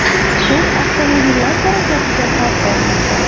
Chuqur avtomobillar harakatiga xavf solmoqda.